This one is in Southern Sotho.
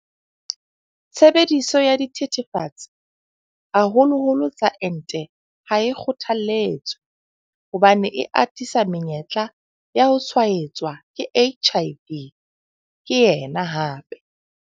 Tshebediso ya dithethefatsi, haholoholo tsa ente ha e kgothaletswe hobane e atisa menyetla ya ho tshwaetswa ke HIV, ke yena hape.